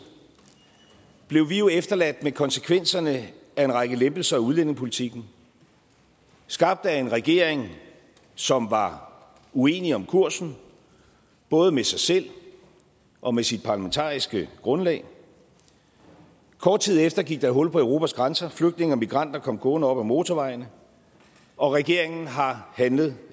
blev vi efterladt med konsekvenserne af en række lempelser af udlændingepolitikken skabt af en regering som var uenig om kursen både med sig selv og med sit parlamentariske grundlag kort tid efter gik der hul på europas grænser flygtninge og migranter kom gående op ad motorvejen og regeringen har handlet